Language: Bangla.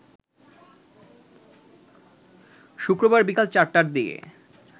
শুক্রবার বিকাল ৪টার দিকে